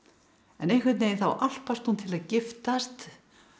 en einhvern veginn þá álpast hún til að giftast